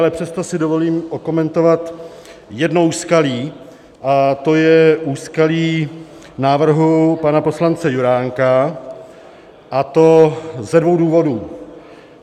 Ale přesto si dovolím okomentovat jedno úskalí a to je úskalí návrhu pana poslance Juránka, a to ze dvou důvodů.